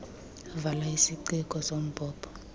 vala isiciko sombhobho